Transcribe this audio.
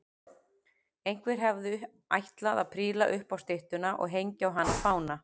Einhver hafði ætlað að príla upp á styttuna og hengja á hana fána.